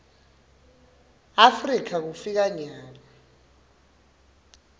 afrika kufika nyalo